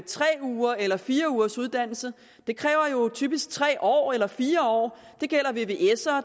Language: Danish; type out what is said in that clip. tre ugers eller fire ugers uddannelse det kræver typisk tre år eller fire år